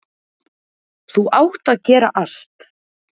Þú átt að gera allt.